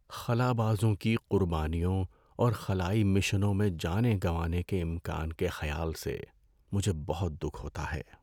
خلابازوں کی قربانیوں اور خلائی مشنوں میں جانیں گنوانے کے امکان کے خیال سے مجھے بہت دکھ ہوتا ہے۔